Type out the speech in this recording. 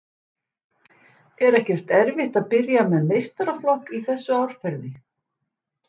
Er ekkert erfitt að byrja með meistaraflokk í þessu árferði?